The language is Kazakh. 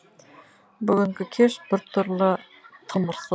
бүгінгі кеш бір түрлі тымырсы